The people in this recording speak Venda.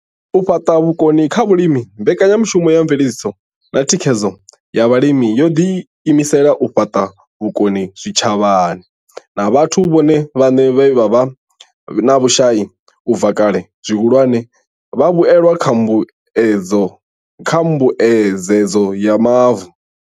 U fhaṱa vhukoni kha vhalimi Mbekanyamushumo ya Mveledziso na Thikhedzo ya Vhalimi yo ḓiimisela u fhaṱa vhukoni kha zwitshavha na vhathu vhone vhaṋe vhe vha vha vhe na vhushai u bva kale, zwihulwane, vhavhuelwa kha Mbuedzedzo ya Mavu.